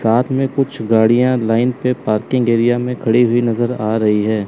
साथ में कुछ गाड़ियां लाइन पे पार्किंग एरिया में खड़ी हुई नजर आ रही है।